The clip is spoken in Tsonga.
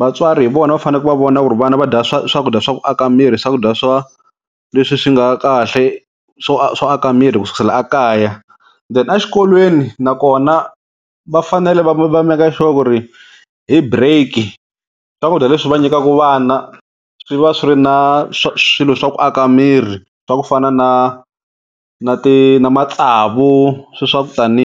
vatswari hi vona va faneke va vona ku ri vana va dya swakudya swa ku aka miri swakudya swa leswi swi nga kahle swo swo aka miri ku sukisela ekaya then a xikolweni na kona va fanele va make sure ku ri hi break swakudya leswi va nyikaku vana swi va swi ri na swilo swa ku aka miri swa ku fana na na ti na matsavu swe swa ku tani.